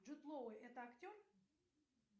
джут лоуи это актер